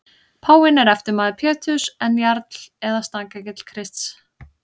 Páfinn er eftirmaður Péturs en jarl eða staðgengill Krists.